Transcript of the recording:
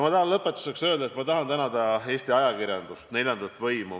Lõpetuseks tahan ma öelda, et ma tänan Eesti ajakirjandust, neljandat võimu.